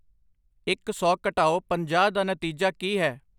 ਇੱਕ ਸੌ ਘਟਾਓ ਪੰਜਾਹ ਦਾ ਨਤੀਜਾ ਕੀ ਹੈ